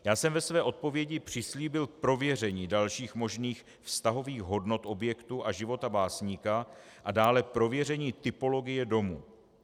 Já jsem ve své odpovědi přislíbil prověření dalších možných vztahových hodnot objektu a života básníka a dále prověření typologie domu.